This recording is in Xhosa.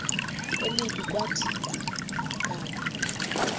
elibi kwathi qabu